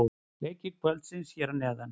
Leikir kvöldsins hér að neðan: